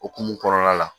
Okumu kɔnɔna la